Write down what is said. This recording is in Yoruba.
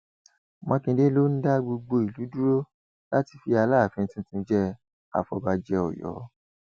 mákindé ló ń dá gbogbo ìlú dúró láti fi aláàfin tuntun jẹ àfọbàjẹ ọyọ